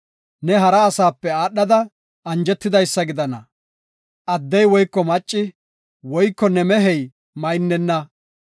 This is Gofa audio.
Ne hara asaape aadhada anjetidaysa gidana. Addey woyko macci woyko ne mehey maynnena.